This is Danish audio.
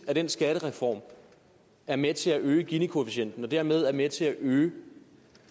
at den skattereform er med til at øge ginikoefficienten og dermed er med til at øge